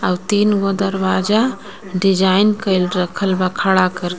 तीन गो दरवाजा डिज़ाइन कइल रखल बा खड़ा करके.